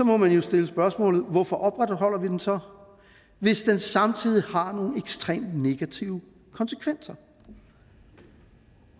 må man jo stille spørgsmålet hvorfor opretholder vi den så hvis den samtidig har nogle ekstremt negative konsekvenser